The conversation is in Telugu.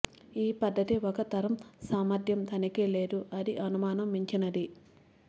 ఈ పద్ధతి ఒక తరం సామర్థ్యం తనిఖీ లేదు అది అనుమానం మించినది